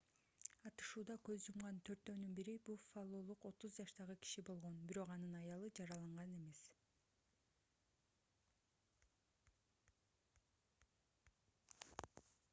атышууда көз жумган төртөөнүн бири буффалолук 30 жаштагы киши болгон бирок анын аялы жараланган эмес